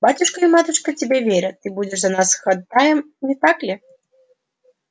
батюшка и матушка тебе верят ты будешь за нас ходатаем не так ли